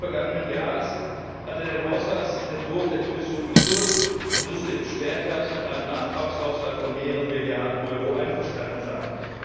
Im Frühjahr des vergangenen Jahres hat er den Haushaltsentwurf der Kommission gekürzt und musste im Spätherbst mit einem Nachtragshaushalt von mehreren Milliarden Euro einverstanden sein.